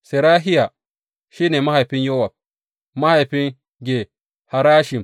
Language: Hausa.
Serahiya shi ne mahaifin Yowab, mahaifin Ge Harashim.